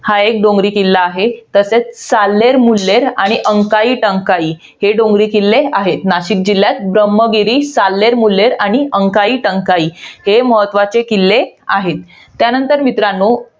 हा एक डोंगरी किल्ला आहे. तसेच, साल्लेर मुल्लेर आणि अंकाळी टंकाळी हे डोंगरी किल्ले आहेत. नाशिक जिल्ह्यात ब्रम्हगिरी, साल्लेर मुल्लेर आणि अंकाळी टंकाळी हे महत्वाचे किल्ले आहेत. त्यानंतर मित्रांनो,